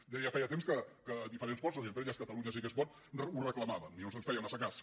deia feia temps que diferents forces i entre elles catalunya sí que es pot ho reclamàvem i no se’ns feia massa cas